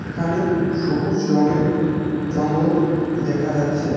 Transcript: এখানে সবুজ রংয়ের জঙ্গল দেখা যাচ্ছে।